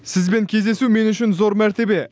сізбен кездесу мен үшін зор мәртебе